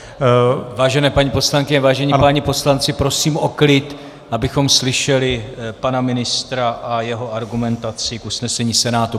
Vážené paní poslankyně, vážení páni poslanci, prosím o klid, abychom slyšeli pana ministra a jeho argumentaci k usnesení Senátu.